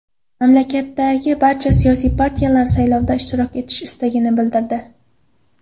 Mamlakatdagi barcha siyosiy partiyalar saylovda ishtirok etish istagini bildirdi.